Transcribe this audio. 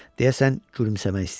Deyəsən gülümsəmək istəyirdi.